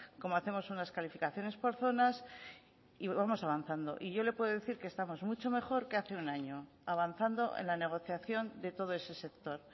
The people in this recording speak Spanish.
cómo hacemos unas calificaciones por zonas y vamos avanzando y yo le puede decir que estamos mucho mejor que hace un año avanzando en la negociación de todo ese sector